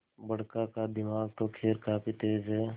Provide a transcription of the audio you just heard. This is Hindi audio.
बड़का का दिमाग तो खैर काफी तेज है